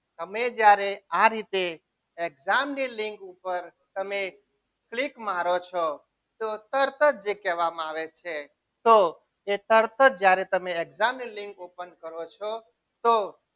અમે જ્યારે આ રીતે exam ની લીંક ઉપર તમે click મારો છો તું તરત જ જે કહેવામાં આવે છે તો એ તરત જ જ્યારે તમે exam ની લીંક ઓપન કરો છો તો